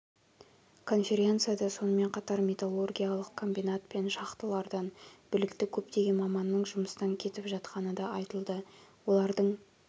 конференцияда сонымен қатар металлургиялық комбинат пен шахталардан білікті көптеген маманның жұмыстан кетіп жатқаны да айтылды олардың